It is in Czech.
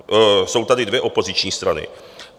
Jsou tady dvě opoziční strany.